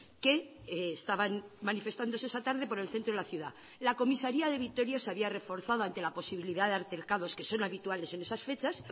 que estaban manifestándose esa tarde por el centro de la ciudad la comisaría de vitoria se había reforzado ante la posibilidad de altercados que son habituales en esas fechas